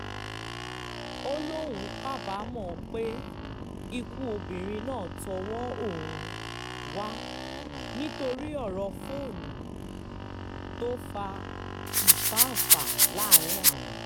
ó lóun kábàámọ̀ pé ikú obìnrin náà tọwọ́ òun um wà nítorí ọ̀rọ̀ fóònù um tó fa fá-ń-fà láàrin àwọn